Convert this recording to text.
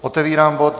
Otevírám bod